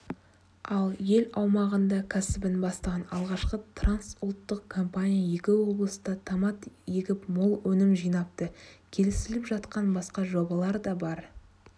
ал ел аумағында кәсібін бастаған алғашқы трансұлттық компания екі облыста томат егіп мол өнім жинапты келісіліп жатқан басқа жобалар да бар